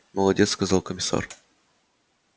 молодец сказал комиссар